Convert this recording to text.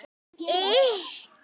Því boði var ekki tekið.